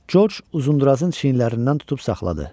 Corc Uzundurazın çiyinlərindən tutub saxladı.